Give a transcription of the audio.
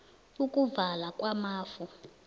ukuvala kwamafu